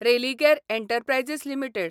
Religare enterprises limited